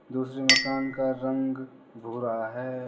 दूसरे मकान का रंग भूरा है।